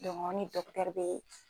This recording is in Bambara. dɔnku an ni dɔkitɛri be